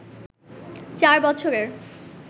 চার বছরের